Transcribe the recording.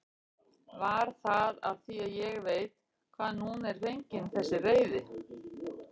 Var það af því ég veit hvaðan hún er fengin þessi reiði?